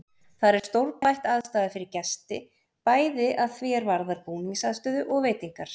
Þar er stórbætt aðstaða fyrir gesti, bæði að því er varðar búningsaðstöðu og veitingar.